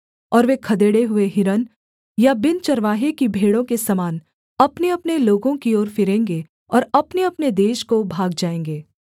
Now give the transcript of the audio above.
और वे खदेड़े हुए हिरन या बिन चरवाहे की भेड़ों के समान अपनेअपने लोगों की ओर फिरेंगे और अपनेअपने देश को भाग जाएँगे